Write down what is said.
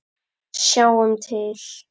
Sjáum til!